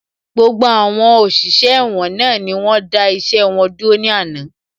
Gbogbo àwọn òṣìṣẹ́ ẹ̀wọ̀n náà ni wọ́n dá iṣẹ́ wọn dúró ní àná